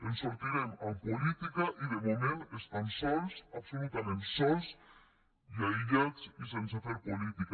en sortirem amb política i de moment estan sols absolutament sols i aïllats i sense fer política